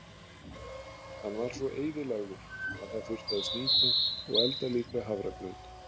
Hann var svo eyðilagður að það þurfti að snýta og elda líka hafragraut.